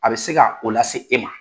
A bɛ se ka o lase e ma.